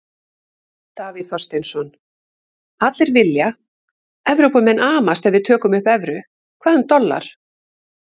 Davíð Þorsteinsson: Allir vilja, Evrópumenn amast ef við tökum upp evru, hvað um dollar?